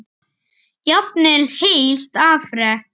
Jafnvel heilt afrek?